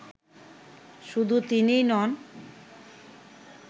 শুধু তিনিই নন